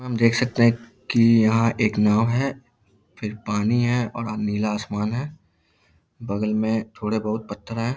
हम देख सकते हैं की यहाँ एक नाव है फिर पानी है और अ नीला आसमान है। बगल में थोड़े बहुत पत्थर है।